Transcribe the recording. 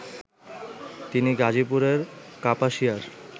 তিনি গাজীপুরের কাপাসিয়ার